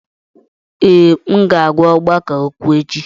Ee, m ga-agwa ọgbakọ okwu echi